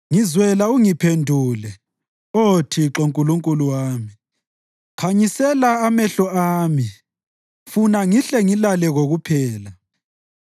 Ngizwela ungiphendule, Oh Thixo Nkulunkulu wami. Khanyisela amehlo ami funa ngihle ngilale kokuphela;